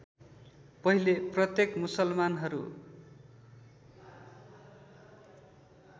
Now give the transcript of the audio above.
पहिले प्रत्येक मुसलमानहरू